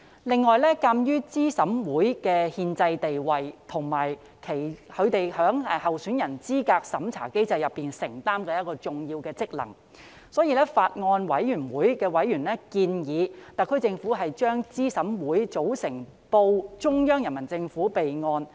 另外，鑒於資審會的憲制地位及其在候選人資格審查機制中承擔的重要職能，法案委員會委員建議特區政府把資審會的組成報中央人民政府備案。